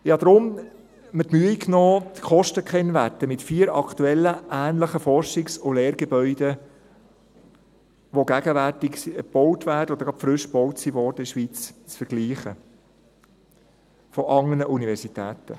Ich habe mir deshalb die Mühe genommen, die Kostenkennwerte mit vier aktuellen ähnlichen Forschungs- und Lehrgebäuden anderer Universitäten, die gegenwärtig in der Schweiz gebaut werden oder gerade gebaut wurden, zu vergleichen.